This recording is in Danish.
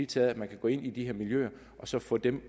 til at man kan gå ind i de her miljøer og så få dem